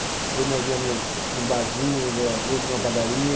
Às vezes nós ia no num barzinho, às vezes numa padaria.